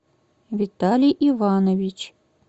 виталий иванович